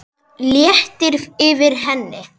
Það léttir yfir henni.